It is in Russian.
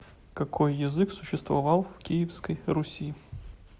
какой язык существовал в киевской руси